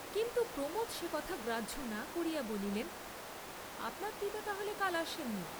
কিন্তু প্রমোদ সে কথা গ্রাহ্য না করিয়া বলিলেন, আপনার পিতা তাহলে কাল আসেন নি?